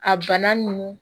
A bana nunnu